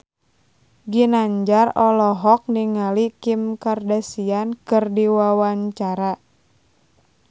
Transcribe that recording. Ginanjar olohok ningali Kim Kardashian keur diwawancara